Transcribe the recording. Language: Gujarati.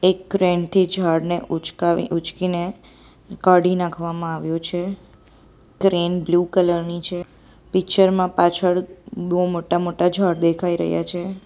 એક ક્રેન થી ઝાડને ઉંચકાવી ઊંચકીને કાઢી નાખવામાં આવ્યો છે ક્રેન બ્લુ કલર ની છે પિક્ચર માં પાછળ બહુ મોટા-મોટા ઝાડ દેખાઈ રહ્યા છે.